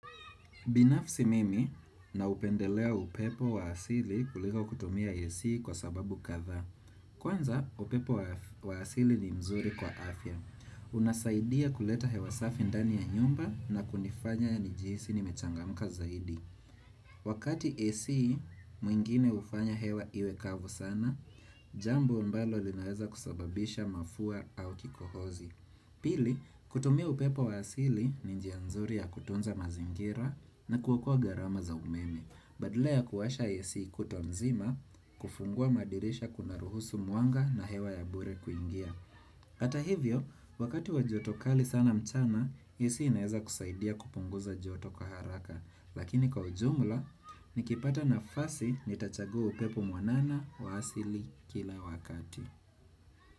Binafsi mimi naupendelea upepo wa asili kuliko kutumia Ac kwa sababu kathaa. Kwanza upepo wa asili ni mzuri kwa afya. Unasaidia kuleta hewa safi ndani ya nyumba na kunifanya nijihisi nimechangamka zaidi. Wakati Ac mwingine hufanya hewa iwe kavu sana, jambo ambalo linaweza kusababisha mafua au kikohozi. Pili, kutumia upepo wa asili ni njia nzuri ya kutunza mazingira na kuokoa gharama za umeme, badala ya kuwasha Ac kutwa nzima, kufungua madirisha kuna ruhusu mwanga na hewa ya bure kuingia. Hata hivyo, wakati wa joto kali sana mchana, AC inaweza kusaidia kupunguza joto kwa haraka, lakini kwa ujumla, nikipata nafasi nitachagua upepo mwanana wa asili kila wakati.